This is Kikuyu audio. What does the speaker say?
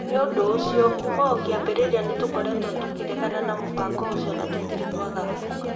Nĩ ũndũ ũcio, kuuma o kĩambĩrĩria nĩtũkoretwo tũkĩregana na mũbango ũcio na tũtirĩ twagarũrũka".